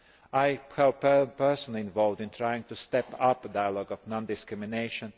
I have been personally involved in trying to step up dialogue on non discrimination